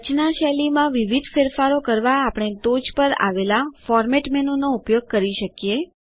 રચના શૈલીમાં વિવિધ ફેરફારો કરવા આપણે ટોચે આવેલા ફોર્મેટ menuફોરમેટ મેનુનો ઉપયોગ કરી શકીએ